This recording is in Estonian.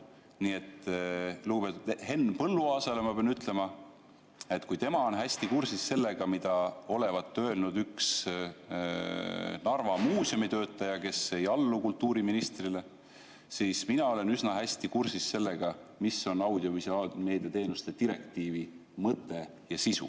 Nii et lugupeetud Henn Põlluaasale ma pean ütlema, et kui tema on hästi kursis sellega, mida olevat öelnud üks Narva muuseumitöötaja, kes ei allu kultuuriministrile, siis mina olen üsna hästi kursis sellega, mis on audiovisuaalmeedia teenuste direktiivi mõte ja sisu.